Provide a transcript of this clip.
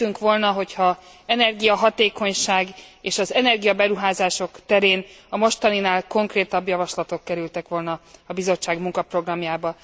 Örültünk volna, hogyha energiahatékonyság és az energia beruházások terén a mostaninál konkrétabb javaslatok kerültek volna a Bizottság munkaprogramjába.